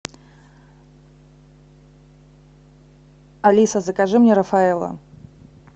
алиса закажи мне рафаэлло